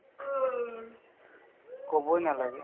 ক'বই নালাগে